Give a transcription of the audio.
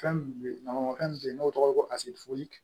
Fɛn min bɛ ye nɔnɔmɔnfɛn min bɛ yen n'o tɔgɔ ye ko asidi